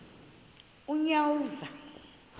unyawuza